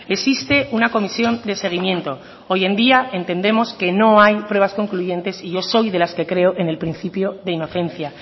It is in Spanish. existe una comisión de seguimiento hoy en día entendemos que no hay pruebas concluyentes y yo soy de las que creo en el principio de inocencia